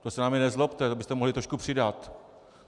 To se na mě nezlobte, to byste mohli trošku přidat.